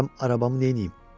bilmirəm arabamı neyniyim.